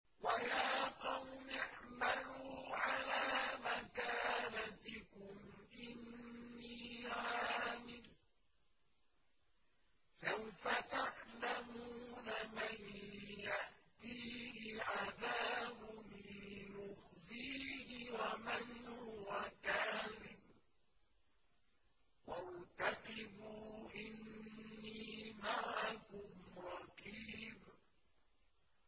وَيَا قَوْمِ اعْمَلُوا عَلَىٰ مَكَانَتِكُمْ إِنِّي عَامِلٌ ۖ سَوْفَ تَعْلَمُونَ مَن يَأْتِيهِ عَذَابٌ يُخْزِيهِ وَمَنْ هُوَ كَاذِبٌ ۖ وَارْتَقِبُوا إِنِّي مَعَكُمْ رَقِيبٌ